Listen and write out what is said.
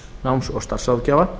náms og starfsráðgjafa